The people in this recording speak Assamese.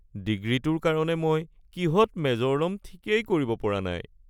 ডিগ্ৰীটোৰ কাৰণে মই কিহত মেজৰ ল'ম ঠিকেই কৰিব পৰা নাই (ছাত্ৰ)